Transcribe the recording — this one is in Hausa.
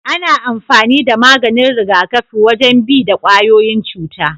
Ana amfani da maganin rigakafi wajen bi da kwayoyin cuta.